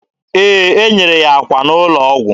Ee, e nyere ya akwa n'ụlọ ọgwụ.